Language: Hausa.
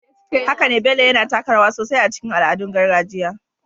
Haka ne, Bello yana taka rawa sosai a cikin al'adun gargajiya